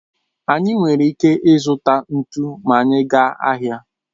Anyị nwere ike zụta ntụ ma anyị gaa ahịa